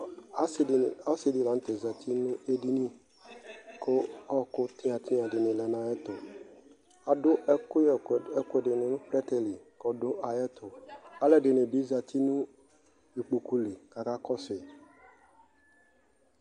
ɔsidi latɛ zatinu ɛdini , ku ɔkʊtinyatinya dinɩlɛnu ayutu, adu ɛkuyɛ nu plɛtɛlɩ kɔdu ayɛtu alɛdini bi zati nu igbokulɩ kaka kɔsʊ